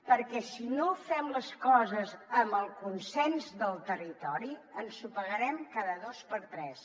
perquè si no fem les coses amb el consens del territori ensopegarem cada dos per tres